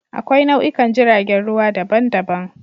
Akwai nau'ikan jiragen ruwa daban-daban.